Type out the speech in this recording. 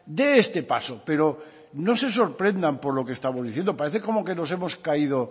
dé este paso pero no se sorprendan por lo que estamos diciendo parece como que nos hemos caído